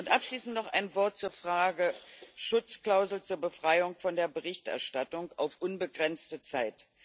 Abschließend noch ein Wort zur Frage der Schutzklausel zur Befreiung von der Berichterstattung auf unbegrenzte Zeit.